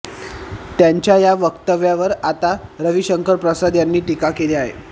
त्यांच्या या वक्तव्यावर आता रविशंकर प्रसाद यांनी टीका केली आहे